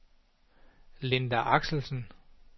Linda Axelsen